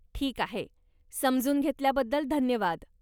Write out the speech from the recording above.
ठीक आहे, समजून घेतल्याबद्दल धन्यवाद.